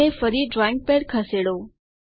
અને ફરી drawing pad ખસેડો